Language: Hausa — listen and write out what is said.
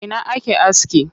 A ina ake aski?